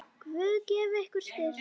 Guð gefi ykkur styrk.